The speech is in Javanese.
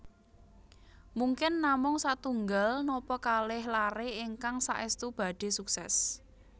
Mungkin namung satunggal napa kalih laré ingkang saèstu badhé suksès